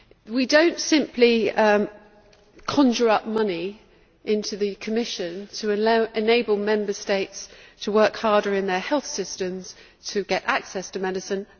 We do not simply conjure money into the Commission to enable Member States to work harder in their health systems to get access to medicine.